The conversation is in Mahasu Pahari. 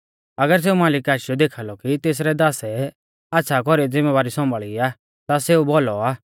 अगर सेऊ मालिक आशीयौ देखाल़ौ कि तेसरै दासै आच़्छ़ा कौरीऐ ज़िमैबारी सौम्भाल़ी आ ता सेऊ भौलौ आ